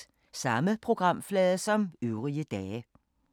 Samme programflade som øvrige dage